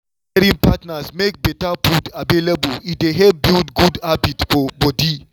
wen caring partners make better food available e dey help build good habit for body.